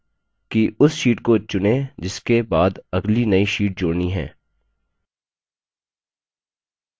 सभी तरीकों के लिए पहले step है कि उस sheet को चुनें जिसके बाद अगली नई sheet जोड़नी है